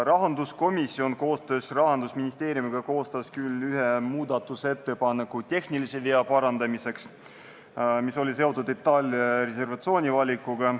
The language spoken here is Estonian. Rahanduskomisjon koostöös Rahandusministeeriumiga koostas küll ühe muudatusettepaneku tehnilise vea parandamiseks, see oli seotud Itaalia reservatsioonivalikuga.